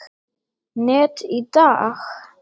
net í dag?